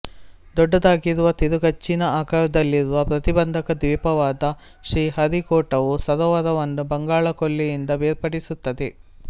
ದೊಡ್ಡದಾಗಿರುವ ತಿರುಗಚ್ಚಿನ ಆಕಾರದಲ್ಲಿರುವ ಪ್ರತಿಬಂಧಕ ದ್ವೀಪವಾದ ಶ್ರೀಹರಿಕೋಟವು ಸರೋವರವನ್ನು ಬಂಗಾಳ ಕೊಲ್ಲಿಯಿಂದ ಬೇರ್ಪಡಿಸುತ್ತದೆ